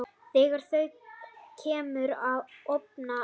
Þegar þú kemur ofan af